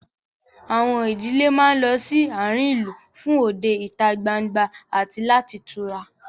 Àwọn ìdílé máa ń lọ sí àárín ìlú fún òde ìta gbangba àti láti tura